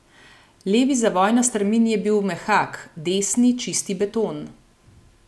Levi zavoj na strmini je bil mehak, desni čisti beton.